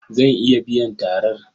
Zan iya biyan tarar.